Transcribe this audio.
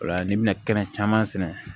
Ola n'i bɛna kɛnɛ caman sɛnɛ